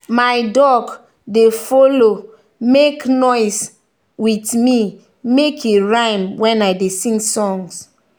my duck dey follow make noise with me make e rhyme when i dey sing songs.